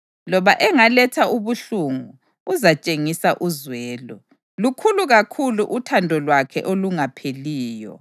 Loba engaletha ubuhlungu, uzatshengisa uzwelo, lukhulu kakhulu uthando lwakhe olungapheliyo.